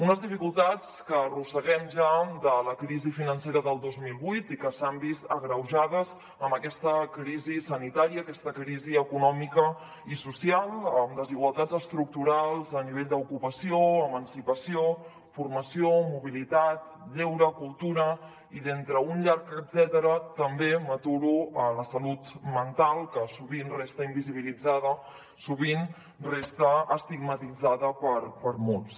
unes dificultats que arrosseguem ja de la crisi financera del dos mil vuit i que s’han vist agreujades amb aquesta crisi sanitària aquesta crisi econòmica i social amb desigualtats estructurals a nivell d’ocupació emancipació formació mobilitat lleure cultura i d’entre un llarg etcètera també m’aturo en la salut mental que sovint resta invisiblitzada sovint resta estigmatitzada per molts